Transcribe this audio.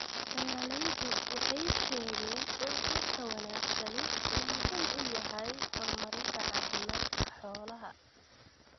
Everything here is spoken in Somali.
Beeralaydu waxay sheegeen in quudka wanaagsani uu muhiim u yahay horumarinta caafimaadka xoolaha.